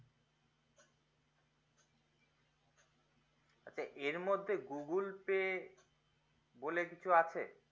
আচ্ছা এর মদ্ধ্যে google pay বলে কিছু আছে